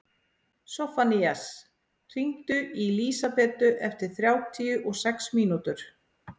Soffanías, hringdu í Lísabetu eftir þrjátíu og sex mínútur.